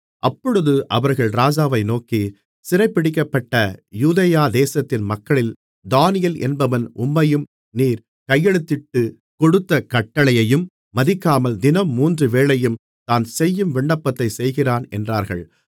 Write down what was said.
அப்பொழுது அவர்கள் ராஜாவை நோக்கி சிறைபிடிக்கப்பட்ட யூதேயா தேசத்தின் மக்களில் தானியேல் என்பவன் உம்மையும் நீர் கையெழுத்திட்டுக்கொடுத்த கட்டளையையும் மதிக்காமல் தினம் மூன்று வேளையும் தான்செய்யும் விண்ணப்பத்தைச் செய்கிறான் என்றார்கள்